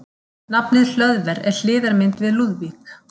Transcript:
Nafnið Hlöðver er hliðarmynd við Lúðvík.